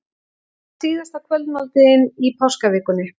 Var síðasta kvöldmáltíðin í páskavikunni?